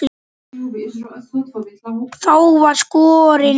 Þá var skorin upp herör.